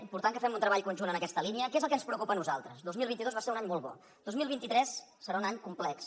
important que fem un treball conjunt en aquesta línia que és el que ens preocupa a nosaltres dos mil vint dos va ser un any molt bo dos mil vint tres serà un any complex